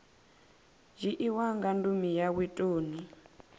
dzhiiwa nga ndumi yawe toni